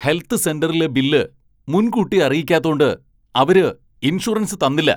Health സെന്ററിലെ ബില്ല് മുൻകൂട്ടി അറിയിക്കാത്തോണ്ട് അവര് ഇൻഷുറൻസ് തന്നില്ല.